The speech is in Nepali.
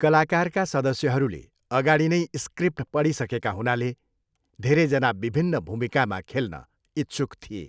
कलाकारका सदस्यहरूले अगाडि नै स्क्रिप्ट पढिसकेका हुनाले धेरैजना विभिन्न भूमिकामा खेल्न इच्छुक थिए।